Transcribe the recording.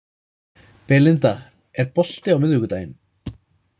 Belinda, er bolti á miðvikudaginn?